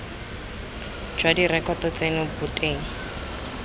jwa direkoto tseno bo teng